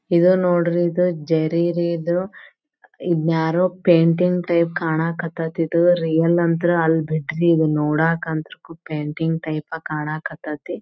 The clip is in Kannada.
ಇದ ನೋಡ್ರಿ ಇದು ಜರಿ ರೀ ಇದು ಇದನ ಯಾರೋ ಪೇಂಟಿಂಗ್ ಟೈಪ್ ಕಣಕ್ ಹತೈತಿ ಇದು ರಿಯಲ್ ಅಂತು ಅಲ್ಬಿಡ್ರಿ ಇದ ನೋಡಾಕ ಪೇಂಟಿಂಗ್ ಟೈಪ್ ಕಣಕ್ ಹತೈತಿ.